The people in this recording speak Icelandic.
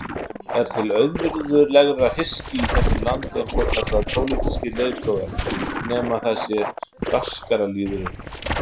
Er til auvirðilegra hyski í þessu landi en svokallaðir pólitískir leiðtogar, nema það sé braskaralýðurinn?